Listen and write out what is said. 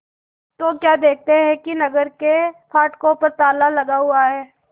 तो क्या देखते हैं कि नगर के फाटकों पर ताला लगा हुआ है